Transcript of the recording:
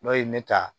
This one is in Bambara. N'o ye me ta